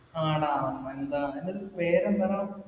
ആ ഡാ. പേരെന്താണ്